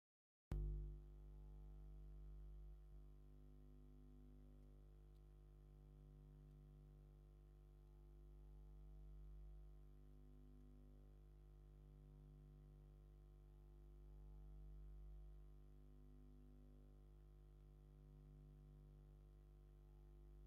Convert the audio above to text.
ኣብዚ ኣብ ጎደና ከተማ ዝርከብ ገዛ ዘርኢ እዩ። ኣብቲ ገዛ ዓቢ ጽሑፍ ኣሎ፤ “ስፔሻል ቀረፅን ክትፎን”ዝብል ይንበብ። ኣብቲ መእተዊ ካብ ቀይሕን ጻዕዳን ጨርቂ ዝተሰርሐ ስልማት ጌጽ ኣሎ። ኣብቲ መእተዊ እንታይ ዓይነት ስልማት ይረአ ኣሎ?